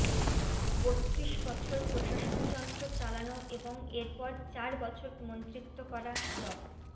বত্রিশ বছর প্রশাসনযন্ত্র চালানো এবং এরপর চার বছর মন্ত্রিত্ব করা ড